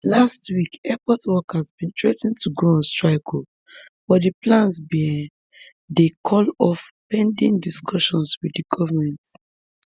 last week airport workers bin threa ten to go on strike um but di plans bin dey called off pending discussions wit di goment